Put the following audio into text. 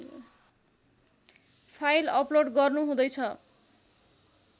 file upload गर्नुहुँदैछ